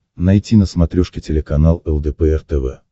найти на смотрешке телеканал лдпр тв